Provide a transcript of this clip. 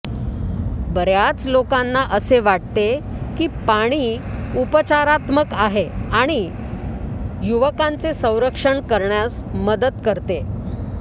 बर्याच लोकांना असे वाटते की पाणी उपचारात्मक आहे आणि युवकांचे संरक्षण करण्यास मदत करते